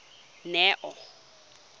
neo